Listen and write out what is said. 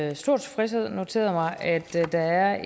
med stor tilfredshed noteret mig at der er